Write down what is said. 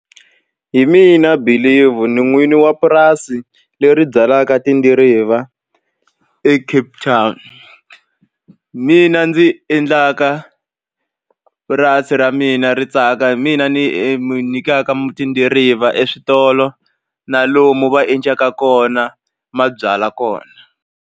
Hi mina Believe ni n'wini wa purasi leri byalaka tidiriva eCape Town mina ndzi endlaka purasi ra mina ri tsaka hi mina ni nyikaka tidiriva eswitolo na lomu va endlaka kona ma byalwa kona.